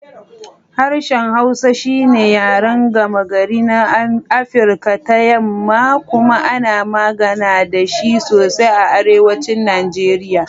Harshen Hausa shi ne yaren gama-gari na Afirka ta Yamma kuma ana magana da shi sosai a Arewacin Najeriya.